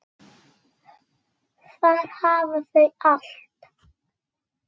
Þar hafa þau allt.